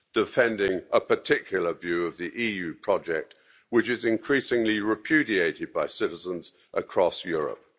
defending a particular view of the EU project, which is increasingly repudiated by citizens across Europe